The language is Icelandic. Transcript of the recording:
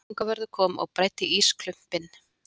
Sólrún fangavörður kom og bræddi ísklumpinn.